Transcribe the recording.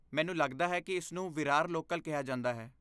ਮੈਨੂੰ ਲੱਗਦਾ ਹੈ ਕਿ ਇਸਨੂੰ ਵਿਰਾਰ ਲੋਕਲ ਕਿਹਾ ਜਾਂਦਾ ਹੈ।